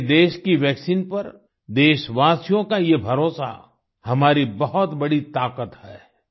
अपने देश की वैक्सीन पर देशवासियोँ का ये भरोसा हमारी बहुत बड़ी ताकत है